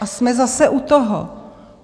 A jsme zase u toho.